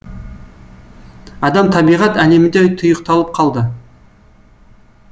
адам табиғат әлемінде тұйықталып қалды